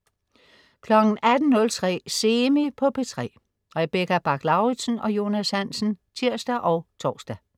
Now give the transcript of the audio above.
18.03 Semi på P3. Rebecca Bach-Lauritsen og Jonas Hansen (tirs og tors)